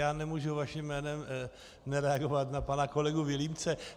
Já nemůžu vaším jménem nereagovat na pana kolegu Vilímce.